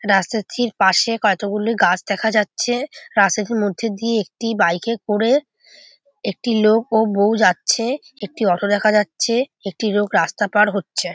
রাস্তা পাশে কতগুলি গাছ দেখা যাচ্ছে রাস্তাটির মধ্যে দিয়ে একটি বাইকে করে একটি লোক ও বৌ যাচ্ছে একটি অটো দেখা যাচ্ছে একটি লোক রাস্তা পার হচ্ছে।